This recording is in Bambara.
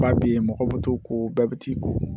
Ba bɛ yen mɔgɔ bɛ t'o ko bɛɛ bɛ t'i ko